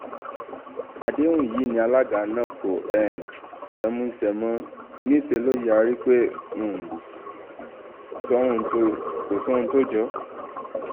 àdéhùn yìí ni aláǹgá náà kò um fẹ́ẹ́ mú ṣe mo níṣẹ́ lọ yarí pé kò um sóhun tó jọ ọ́